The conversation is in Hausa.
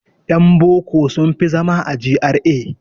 Yan boko sun fi zama a GRA.